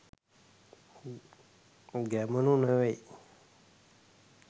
ගැමුණු නෙවෙයි